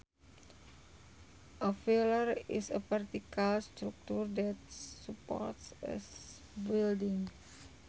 A pillar is a vertical structure that supports a building